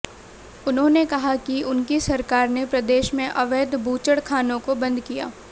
उन्होंने कहा कि उनकी सरकार ने प्रदेश में अवैध बूचड़खानों को बंद किया